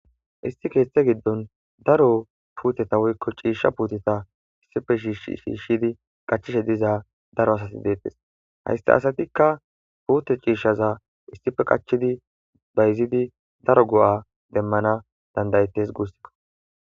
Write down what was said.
Isi keeththe giddon daro puuteta woykko ciisha puuteta issife shi sshiishshidi qachishe diza daro asati deettes haysta asatikka puute ciishshaza issife qachidi bayzidi daro go7a demmana dandayettes guussikko.